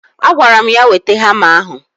Agwara m ya, weta hama ahụ!